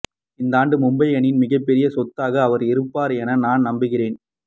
இந்தாண்டு மும்பை அணியின் மிகப்பெரிய சொத்தாக அவர் இருப்பார் என நான் நம்புகிறேன்